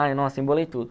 Ai nossa embolei tudo.